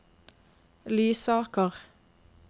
Lysaker